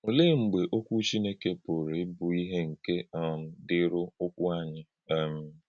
Olè̄è̄ mḡbè ọ̀kwú̄ Chìnékè pụ̀rụ̄ íbụ̀ ìhè̄ nke um dị̄írí̄ ụ̀kwụ́ ānyị̄? um